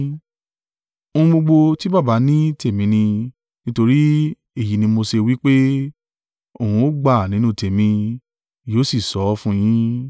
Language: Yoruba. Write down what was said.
Ohun gbogbo tí Baba ní tèmi ni, nítorí èyí ni mo ṣe wí pé, òun ó gba nínú tèmi, yóò sì sọ ọ́ fún yín.